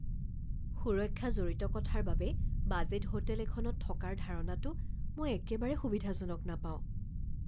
সুৰক্ষা জড়িত কথাৰ বাবে বাজেট হোটেল এখনত থকাৰ ধাৰণাটো মই একেবাৰে সুবিধাজনক নাপাওঁ।